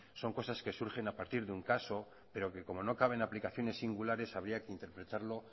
son cosas que surgen a partir de un caso pero que como no caben aplicaciones singulares había que interpretarlo